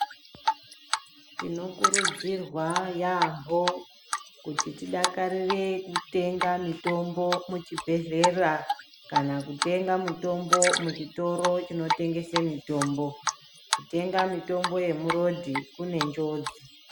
Tinokurudzirwa yaamho kuti tidakarire kutenga mitombo muchibhedhera kana kutenga mitombo muchitoro chinotengese mitombo. Kutenga mitombo yemurodhi kunenjodzi.